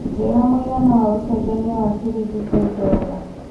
njĩra mũigana wa ũcenjanĩa wa cĩrĩngĩ kwĩ dola